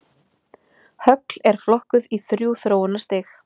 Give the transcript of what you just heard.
Högl eru flokkuð í þrjú þróunarstig.